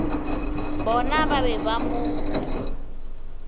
bona ba be ba mo